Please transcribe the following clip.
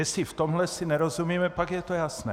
Jestli v tomhle si nerozumíme, pak je to jasné.